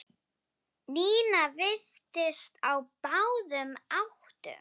Nína virtist á báðum áttum.